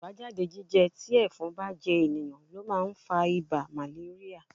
Àbájáde jíjẹ tí ẹ̀fọn bá jẹ ènìyàn ló máa ń fa ibà màléríà.